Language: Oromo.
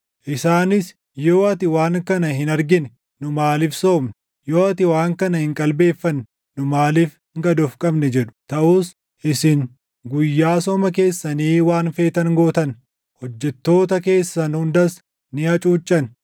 Isaanis, ‘Yoo ati waan kana hin argine, nu maaliif soomne? Yoo ati waan kana hin qalbeeffanne nu maaliif gad of qabne?’ jedhu. “Taʼus isin guyyaa sooma keessanii waan feetan gootan; hojjettoota keessan hundas ni hacuuccan.